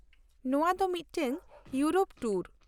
-ᱱᱚᱶᱟ ᱫᱚ ᱢᱤᱫᱴᱟᱝ ᱤᱭᱩᱨᱳᱯ ᱴᱩᱨ ᱾